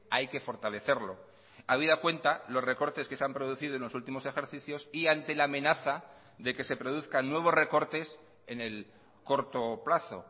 hay que fortalecerlo habida cuenta los recortes que se han producido en los últimos ejercicios y ante la amenaza de que se produzcan nuevos recortes en el corto plazo